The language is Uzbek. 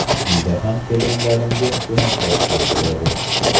Uyda ham kelinlarimga ko‘maklashgim keladi.